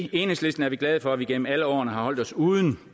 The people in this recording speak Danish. i enhedslisten er vi glade for at vi gennem alle årene har holdt os uden